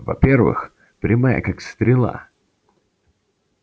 во-первых прямая как стрела